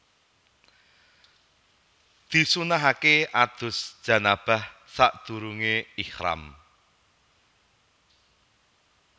Disunnahaké adus janabah sadurungé ihram